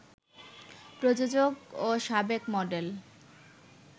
প্রযোজক ও সাবেক মডেল